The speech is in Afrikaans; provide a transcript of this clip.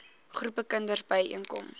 groepe kinders byeenkom